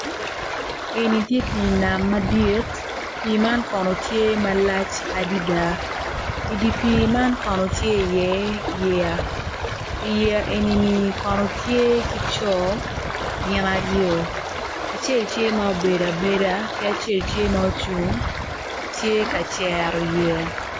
Eni tye pii nam madit pii man kono tye malac adada i dye pii man kono tye iye yeya i yeya eni kono tye ki co gin aryo acel tye obedo abeda acel tye ocung tye ka cero yeya.